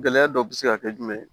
Gɛlɛya dɔ bɛ se ka kɛ jumɛn ye